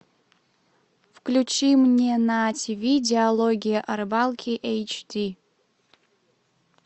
включи мне на тв диалоги о рыбалке эйч ди